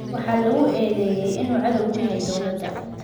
“Waxaa lagu eedeeyay inuu cadow ku yahay dowladda.